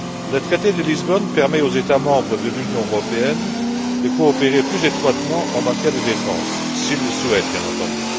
Le traité de Lisbonne permet aux États membres de l'Union européenne de coopérer plus étroitement en matière de défense, s'ils le souhaitent, bien entendu.